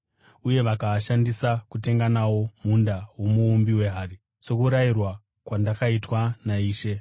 uye vakaashandisa kutenga nawo munda womuumbi wehari, sokurayirwa kwandakaitwa naIshe.”